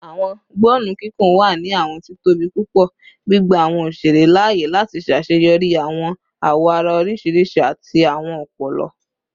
Awọn gbọnnu kikun wa ni awọn titobi pupọ, gbigba awọn oṣere laaye lati ṣaṣeyọri awọn awoara oriṣiriṣi ati awọn ọpọlọ